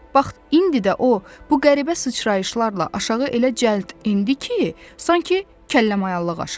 Vaxt indi də o, bu qəribə sıçrayışlarla aşağı elə cəld enirdi ki, sanki kəlləmayallıq aşırdı.